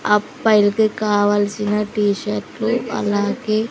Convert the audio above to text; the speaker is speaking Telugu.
అప్పాయల్కి కావల్సిన టి షర్ట్లు అలాగే--